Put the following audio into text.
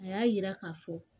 A y'a yira k'a fɔ